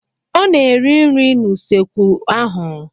Ọ na-eri nri n'usekwu ahụ.